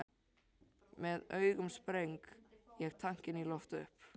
Með augunum sprengi ég tankinn í loft upp.